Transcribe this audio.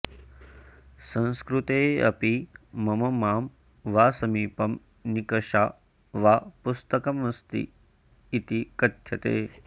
संस्कृतेऽपि मम मां वा समीपं निकषा वा पुस्तकमस्ति इति कथ्यते